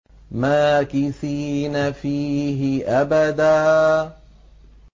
مَّاكِثِينَ فِيهِ أَبَدًا